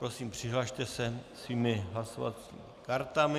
Prosím, přihlaste se svými hlasovacími kartami.